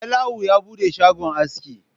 Salawu ya buɗe shagon aski